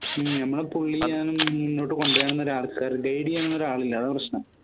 ഹും നമ്മളെ പുള്ളി ഞാനും മുന്നോട്ട് ആളില്ല അതാ പ്രശ്നം